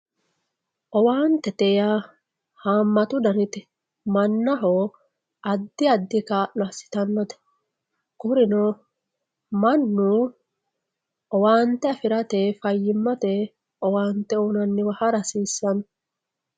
owaantete yaa haammatu danite mannaho addi addi kaa'lo assitannote kurino mannu owaante afirate fayyimate owaante uynanniwa hara hasiissanno